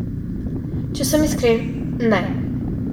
Če sem iskren, ne.